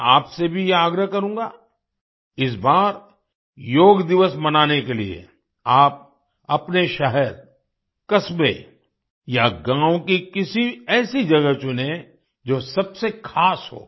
मैं आपसे भी ये आग्रह करूँगा इस बार योग दिवस मनाने के लिए आप अपने शहर कस्बे या गाँव के किसी ऐसी जगह चुनें जो सबसे खास हो